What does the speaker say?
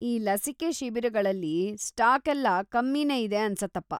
ಈ ಲಸಿಕೆ ಶಿಬಿರಗಳಲ್ಲಿ ಸ್ಟಾಕೆಲ್ಲ ಕಮ್ಮಿನೇ ಇದೆ ಅನ್ಸತ್ತಪ್ಪ.